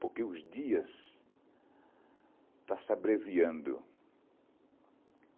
Porque os dias está se abreviando.